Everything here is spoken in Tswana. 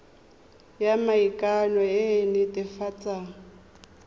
ya maikano e e netefatsang